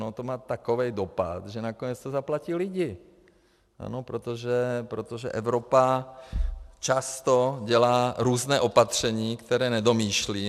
No to má takový dopad, že nakonec to zaplatí lidí, ano, protože Evropa často dělá různá opatření, která nedomýšlí.